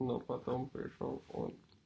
но потом пришёл он